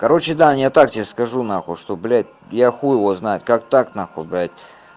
короче даня я так тебе скажу нахуй что блядь я хуй его его знает как так нахуй блядь